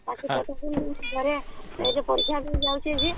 ପାଠ ପଢି ଯୋଉ ପରୀକ୍ଷା ଦେଇ ଯାଉଛି ଯେ